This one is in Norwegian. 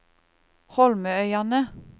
Holmøyane